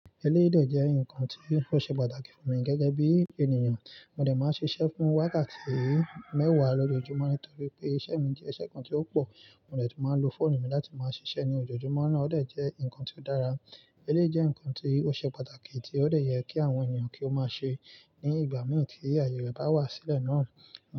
Ẹlẹ́rìí jẹ́ nǹkan tí ó ṣe pàtàkì fún mi gẹ́gẹ́ bí ènìyàn. Mò dè máa ṣiṣẹ́ fún wákàtí mẹ́wàá lójoojúmọ́ nítorí pé iṣẹ́ mi jẹ́ iṣẹ́ kan tí ó pò. Mò dè tún máa lo fóònù mi láti máa ṣiṣẹ́ ní ojoojúmọ́ náà. Ó dè jẹ́ nǹkan tí ó dára. Ẹlẹ́rìí jẹ́ nǹkan tí ó ṣe pàtàkì tí ó dè yẹ kí àwọn ènìyàn kí ó máa ṣe ní ìgbà mí tí àyè rẹ̀ bá wá sílẹ̀ náà.